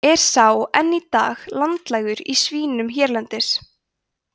er sá enn í dag landlægur í svínum hérlendis